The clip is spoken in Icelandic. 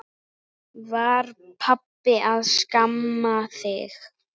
Var pabbi að skamma þig?